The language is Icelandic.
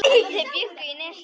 Þau bjuggu í Nesi.